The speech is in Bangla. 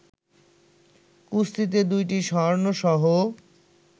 কুস্তিতে ২টি স্বর্ণসহ